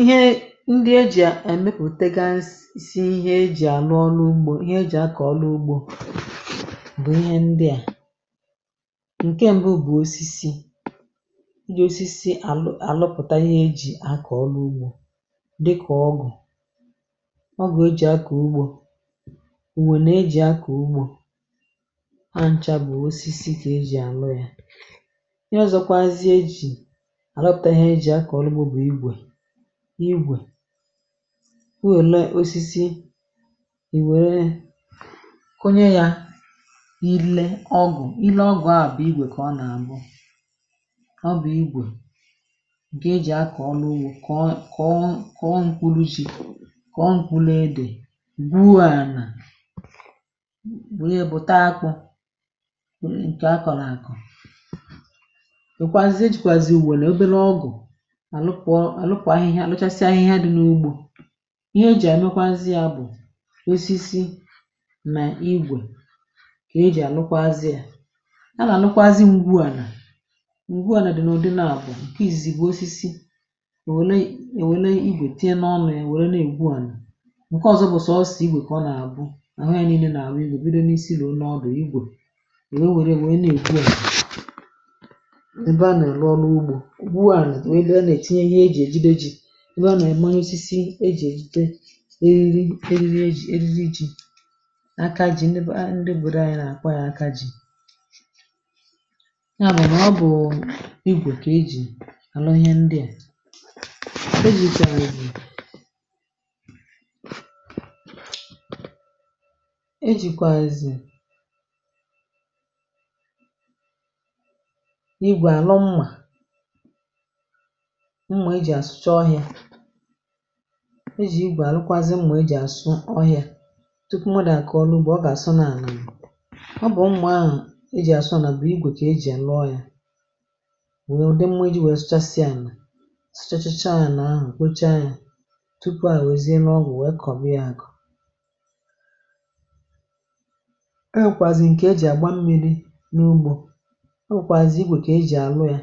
ihe ndị e jì à èmepùtega isi ihe ejì àlụ ọlụ ugbȯ, ihe ejì akà ọlụ ugbȯ, bụ̀ ihe ndịa. ǹkè mbụ bụ̀ osisi, ndị osisi àlụpụ̀ta ihe ejì akà ọlụ ugbȯ, dịkà ọgụ̀ ọgụ̀ e jì akà ugbȯ, ò wène e jì akà ugbȯ. Aja nchȧ bụ̀ osisi, kà ejì ànụ yȧ àlọpụ̀ta ihe ejì akọ̀ ọlụ. Ụbụ̀ bụ̀ igwè, igwè i wèlee osisi, ì wère kunye yȧ, i le ọgụ̀, i le ọgụ̀, a bụ̀ igwè kà ọ nà àbụ, ọ bụ̀ igwè ǹkè e jì akọ̀ ọnụ ugwȯ, kà ọ, kà ọ, kà ọ. Nkụlụ chi, kà ọ, nkwụ̇ ledè bu a nà wunye, bụ̀ ta akụ, nkè akọ̀ nà akọ̀ àlụkwà ahụ̇. Ihe à lụchasịa ahụ̇, ihe a dị̇ n’ugbȯ, ihe e jì ànụkwa azị, ya bụ̀ osisi nà igwè, kà e jì ànụkwa azị. Ya a nà ànụkwa azị ugu, ànà ugwu, ànà dị̀ n’ùde, nà àpụ̀. ǹkẹ izìzì gba osisi, nwẹ̀lẹ ì, nwẹ̀lẹ igwè, tinye n’ọnụ ya, nwẹ̀rẹ nà egbu ànà. ǹkẹ ọ̀zọ bụ̀ sọ̀ osì, igwè kà ọ nà àbụ, nà hie nille, nà àrụ igu̇, bụ̀ ị dụ n’isi, nà ọ dị̀ igwè. È nwẹ, nwẹrẹ nwẹ, na egbu ànà, n’igwè ànụ. Mmà mmà i ji asụcha ọhịȧ, e jì igbè àlụkwazị, mmà i ji asụ ọhịȧ tupu mọdụ àkọ̀ ọrụ ugbȧ, ọ gà àsọ nà ànà. Ọ bụ̀ ụmụ̀ ahụ̀ e jì àsọ nà, bụ̀ igwè kà e jì ànụ ọhịȧ, nwèe ụdị mmȧ iji̇ wėė, sụchasịà nà sụchachacha ȧ nà ahụ̀, kwuchaa yȧ tupu à wèzie n’ọgwụ̀, wèe kọ̀bịa yȧ àkọ̀. E nwèkwàzị̀ ǹkè e jì àgba mmi̇ri̇ n’ugbȯ, e nwèkwàzị̀ igwè kà e jì àrụ yȧ,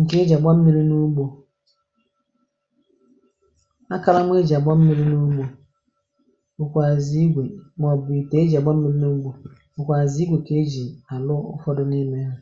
ǹkẹ̀ iji̇ gbaa m̀miri n’ugbȯ, akara m̀ iji̇ gbaa m̀miri n’ugbȯ. Ụkwụ azì igwė, màọbụ̀ itè, iji̇ gbaa m̀ n’ugbȯ, ụkwàzị̀ igwė, kà ejì ànụ ụfọdụ n’ime hȧ.